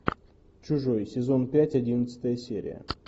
чужой сезон пять одиннадцатая серия